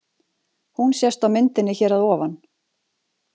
Hún sést á myndinni hér að ofan.